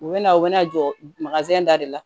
U bɛ na u bɛna jɔ da de la